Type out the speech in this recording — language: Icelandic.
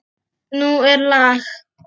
Nú er lag!